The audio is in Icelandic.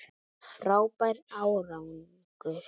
Frábær árangur